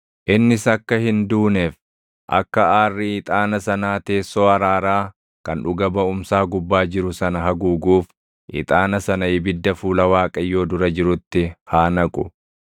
Innis akka hin duuneef, akka aarri ixaana sanaa teessoo araaraa kan dhuga baʼumsaa gubbaa jiru sana haguuguuf ixaana sana ibidda fuula Waaqayyoo dura jirutti haa naqu.